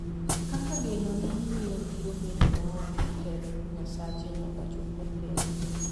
kaka geno ni miyo biro bedo ma ok oketh nyasache nyaka chop okende.